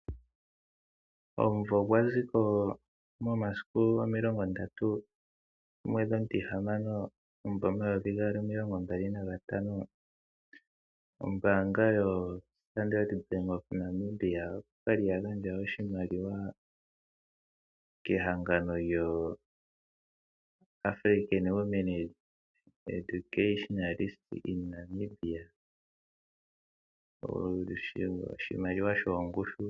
Momasiku 30 Juni 2025, ombaanga yoStandard Bank oya gandja oshimaliwa kehangano lyoAfrican Women Educationalists in Namibia shongushu yoN$ 1 500 000.00.